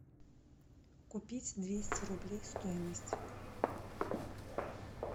купить двести рублей стоимость